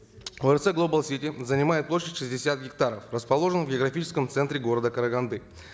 орц глобал сити занимает площадь шестьдесят гектаров расположен в географическом центре города караганды